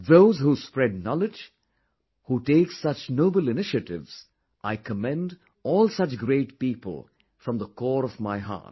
Those who spread knowledge, who take such noble initiatives, I commend all such great people from the core of my heart